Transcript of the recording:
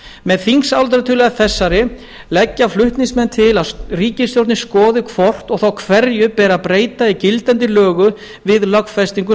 með þingsályktunartillögu þessari leggja flutningsmenn til að ríkisstjórnin skoði hvort og þá hverju beri að breyta í gildandi löggjöf við lögfestingu